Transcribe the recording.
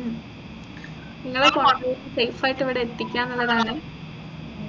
ഉം നിങ്ങളെ safe ആയിട്ട് ഇവിടെ എത്തിക്കുകന്നുള്ളതാണ്